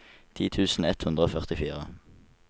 ti tusen ett hundre og førtifire